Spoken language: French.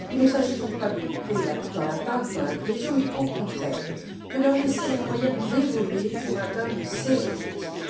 Il ne s'agit donc pas de couper dans la PAC ou dans la cohésion, mais au contraire, de leur laisser les moyens d'évoluer pour atteindre ces objectifs.